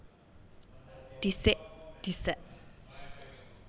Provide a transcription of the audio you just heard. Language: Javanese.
Dhisik disék